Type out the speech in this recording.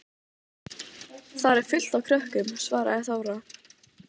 Þar er fullt af krökkum, svaraði Þóra.